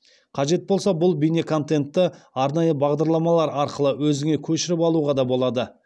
қажет болса бұл бейнеконентті арнайы бағдарламалар арқылы өзіңе көшіріп алуға да болады